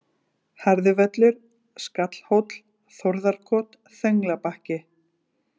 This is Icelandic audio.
Harðivöllur, Skallhóll, Þórðarkot, Þönglabakki